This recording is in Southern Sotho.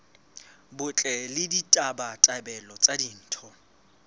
botle le ditabatabelo tsa ditho